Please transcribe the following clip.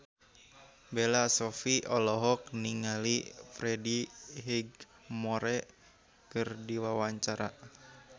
Bella Shofie olohok ningali Freddie Highmore keur diwawancara